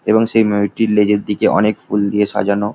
এবং সেই ময়ূরটির লেজের দিকে অনেক ফুল দিয়ে সাজানো |